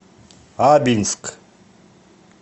абинск